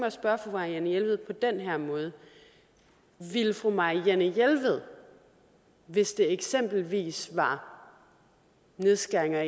at spørge fru marianne jelved på den her måde ville fru marianne jelved hvis det eksempelvis var nedskæringer